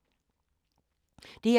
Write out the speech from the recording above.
DR2